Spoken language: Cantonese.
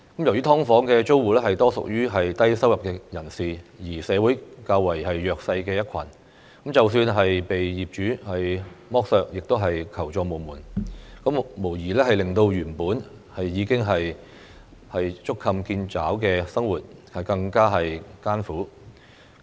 由於"劏房"租戶多屬低收入人士，是社會較為弱勢的一群，即使被業主剝削亦求助無門，無疑令到原本已經捉襟見肘的生活，更加艱苦。